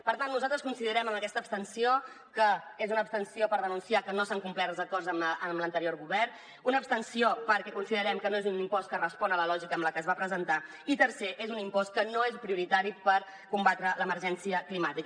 per tant nosaltres considerem amb aquesta abstenció que és una abstenció per denunciar que no s’han complert els acords amb l’anterior govern una abstenció perquè considerem que no és un impost que respongui a la lògica amb la que es va presentar i tercer és un impost que no és prioritari per combatre l’emergència climàtica